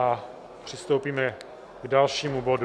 A přistoupíme k dalšímu bodu.